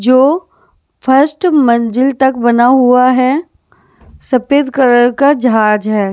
जो फर्स्ट मंजिल तक बना हुआ है सफेद कलर का जहाज है।